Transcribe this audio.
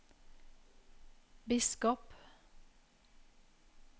biskop